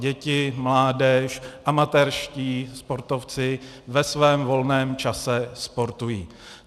Děti, mládež, amatérští sportovci ve svém volném čase sportují.